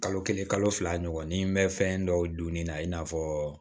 Kalo kelen kalo fila ɲɔgɔn ni n bɛ fɛn dɔw dun ni na i n'a fɔ